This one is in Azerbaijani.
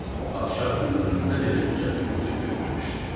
Padşah ömründə belə gözəl yumurta görməmişdi.